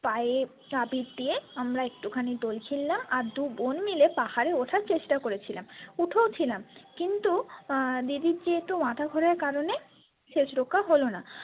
পায়ে তাবিদ দিয়ে আমরা একটুখানি দোল খেললাম আর দুবোন মিলে পাহাড়ে ওঠার চেষ্টা করেছিলাম উঠেও ছিলাম কিন্তু উম দিদির যেহেতু মাথা ঘোরার কারণে শেষ রক্ষা হলনা।